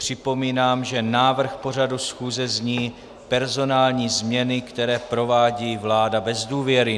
Připomínám, že návrh pořadu schůze zní Personální změny, které provádí vláda bez důvěry.